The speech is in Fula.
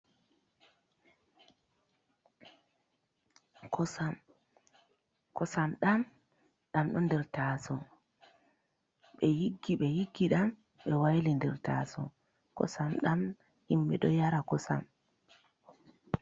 Kosam, Kosam ɗam, ɗan ɗe nder taaso, ɓe yiggi ɓe yiggi ɗam ɓe waili ha nder taaso, kosam ɗam himɓe ɗo yara kosam.